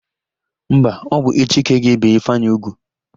Mba, ọ bụ echi ka a ga-ébè Ifeanyị úgwù.